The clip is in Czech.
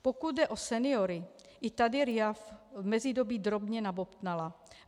Pokud jde o seniory, i tady RIA v mezidobí drobně nabobtnala.